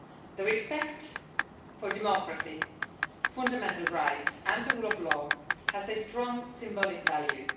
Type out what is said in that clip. The respect for democracy, fundamental rights and the rule of law has a strong symbolic value.